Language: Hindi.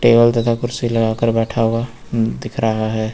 टेबल तथा कुर्सी लगाकर बैठा हुआ दिख रहा है।